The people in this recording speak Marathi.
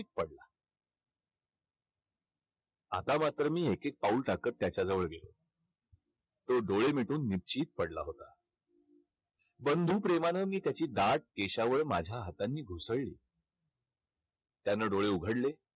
आता मात्र मी एक एक पाऊल टाकत त्याच्याजवळ गेलो. तो डोळे मिटून निपचित पडला होता. बंधुप्रेमानं मी त्याची दाट केशावळ माझ्या हातांनी घुसळली. त्यानं डोळे उघडले.